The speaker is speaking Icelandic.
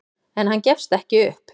En hann gefst ekki upp.